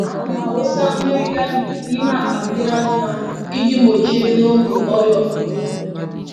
Ana m awụsa mmiri galiki n’ime akpa mmiri anụmanụ ịjì gbochie n’oge ọrịa ọkụkọ.